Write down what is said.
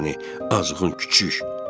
Ay səni azğın küçək.